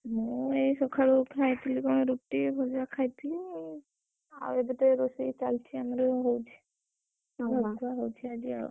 ମୁଁ ଏଇ ସକାଳୁ ଖାଇଥିଲି କଣ ରୁଟି, ଭଜା ଖାଇଥିଲି ଆଉ, ଆଉ ଏବେ ତ ଏଇ ରୋଷେଇ ଚାଲିଛି ଆମ room ରେ ହଉଛି, ହଉଛି ଆଜି ଆଉ।